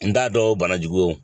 N t'a dɔn bana jugu